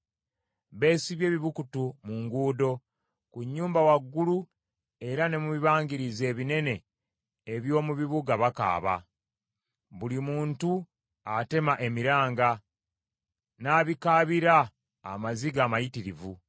Beesibye ebibukutu mu nguudo; ku nnyumba waggulu era ne mu bibangirize ebinene eby’omu bibuga bakaaba. Buli muntu atema emiranga n’abikaabira amaziga amayitirivu.